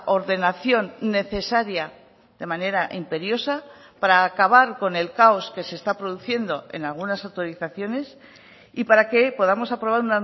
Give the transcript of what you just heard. ordenación necesaria de manera imperiosa para acabar con el caos que se está produciendo en algunas autorizaciones y para que podamos aprobar